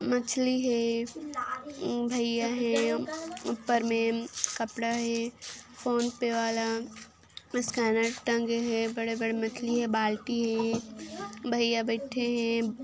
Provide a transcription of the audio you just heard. मछली है भैया है ऊपर में कपड़ा है फोनपे वाला स्कैनर टंगे हे बड़े बड़े मछली है बाल्टी है भैया बैठे हैं।